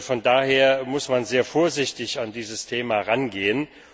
Von daher muss man sehr vorsichtig an dieses Thema herangehen.